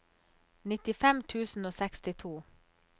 nittifem tusen og sekstito